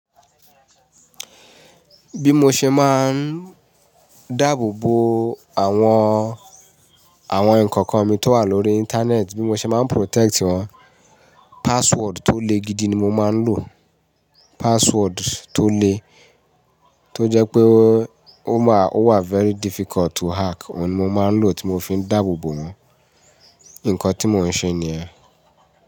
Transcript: Bí mo ṣe máa ń dáàbò bo àwọn, àwọn nǹkan kan mi tó wà lórí Íńtánẹ́ẹ̀tì, bí mo ṣe máa ń protect wọn, password tó le gidi ni mo máa ń lò. Password tó le, tó jẹ́ pé ó máa, ó wà very difficult to hack ohun ni mo máa ń lò tí mo fi ń dáàbò bo wọn. Ǹkan tí mò ń ṣe nìyẹn.